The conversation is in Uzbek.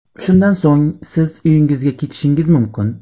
Shundan so‘ng siz uyingizga ketishingiz mumkin.